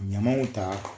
Ɲamanw ta